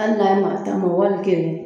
Ali n'a nana tan ma wali kelen